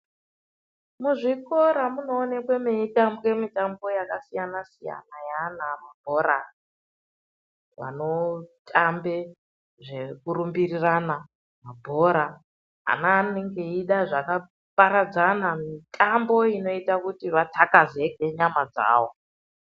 Muzvikora munoonekwa meitambwa mitambo yakasiyana siyana neana kubhora vanotamba zvekurumbirana pabhora ana anenge achida zvakaparadzana mitambo inoita vakatsvakazeke nyama dzavo.